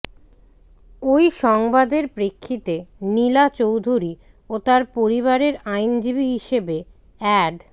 ওই সংবাদের প্রেক্ষিতে নীলা চৌধুরী ও তার পরিবারের আইনজীবী হিসেবে অ্যাড